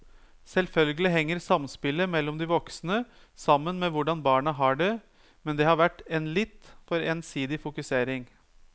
Selvfølgelig henger samspillet mellom de voksne sammen med hvordan barna har det, men det har vært en litt for ensidig fokusering.